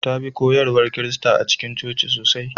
Ta bi koyarwar Kirista a cikin coci sosai.